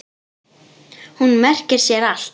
Hún merkir sér allt.